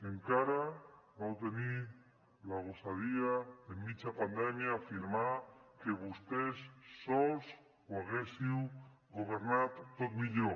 encara vau tenir la gosadia de a mitja pandèmia afirmar que vosaltres sols ho haguéssiu governat tot millor